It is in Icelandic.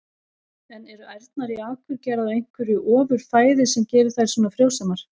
En eru ærnar í Akurgerð á einhverju ofur fæði sem gerir þær svona frjósamar?